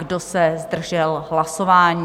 Kdo se zdržel hlasování?